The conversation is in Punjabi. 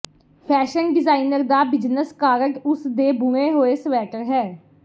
ਫੈਸ਼ਨ ਡਿਜ਼ਾਇਨਰ ਦਾ ਬਿਜਨਸ ਕਾਰਡ ਉਸ ਦੇ ਬੁਣੇ ਹੋਏ ਸਵੈਟਰ ਹੈ